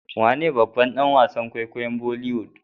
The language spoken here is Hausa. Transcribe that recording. wane babban danwasan kwaikwayom boliwoood